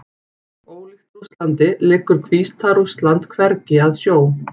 Ólíkt Rússlandi liggur Hvíta-Rússland hvergi að sjó.